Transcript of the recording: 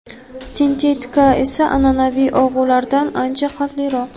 Sintetika esa an’anaviy og‘ulardan ancha xavfliroq.